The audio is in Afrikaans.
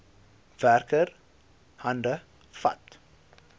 werker hande vat